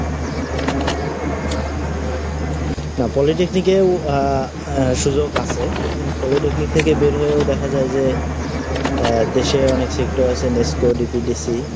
না, Polytechnic এও আহ , অ্যা, সুযোগ আছে, হম, Polytechnic থেকে বের হয়েও দেখা যায় যে আহ, দেশের অনেক sector আছে meesho DPDC